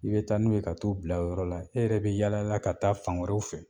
I bɛ taa n'u ka t'u bila o yɔrɔ la, e yɛrɛ bɛ yaala la ka taa fan wɛrɛw fɛ/